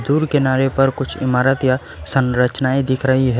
दूर किनारे पर कुछ इमारत या संरचनाएं दिख रही है।